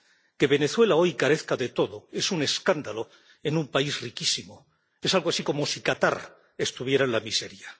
Que Venezuela hoy carezca de todo es un escándalo en un país riquísimo, es algo así como si Qatar estuviera en la miseria.